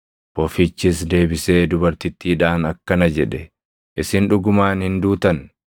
Bofichis deebisee dubartittiidhaan akkana jedhe; “Isin dhugumaan hin duutan.